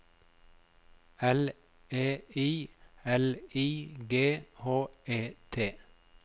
L E I L I G H E T